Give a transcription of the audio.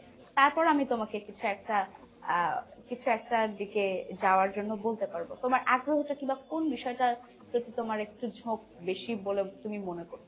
তারপর আমি তোমাকে কিছু একটা আহ কিছু একটার দিকে যাওয়ার জন্য বলতে পারবো। তোমার আগ্রহটা কিংবা কোন বিষয়টা প্রতি তোমার একটু ঝোক বেশি বলে তুমি মনে করো?